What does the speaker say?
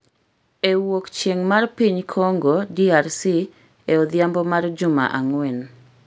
e wuok chieng’ mar piny Kongo (DRC) e odhiambo mar juma ang’wen.